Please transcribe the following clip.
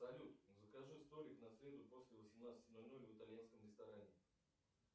салют закажи столик на среду после восемнадцати ноль ноль в итальянском ресторане